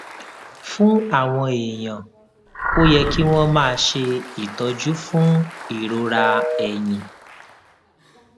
fún àwọn èèyàn ó yẹ kí wón máa ṣe ìtọjú fún ìrora ẹyìn